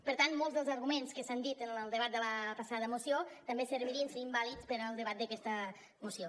per tant molts dels arguments que s’han dit en el debat de la passada moció també servirien serien vàlids per al debat d’aquesta moció